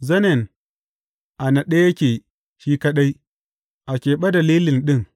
Zanen a naɗe yake shi kaɗai, a keɓe da lilin ɗin.